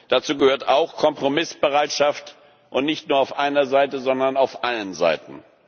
Dazu gehört auch Kompromissbereitschaft, und zwar nicht nur auf einer Seite, sondern auf allen Seiten.